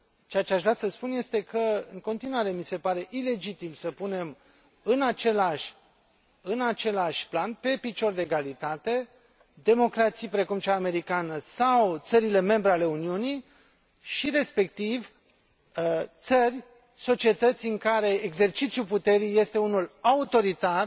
Ceea ce aș vrea să spun este că, în continuare, mi se pare ilegitim să punem în același plan, pe picior de egalitate, democrații, precum cea americană, sau țările membre ale Uniunii și, respectiv, țări, societăți în care exercițiul puterii este unul autoritar,